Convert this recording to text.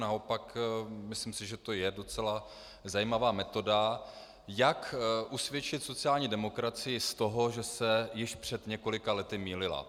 Naopak, myslím si, že to je docela zajímavá metoda, jak usvědčit sociální demokracii z toho, že se již před několika lety mýlila.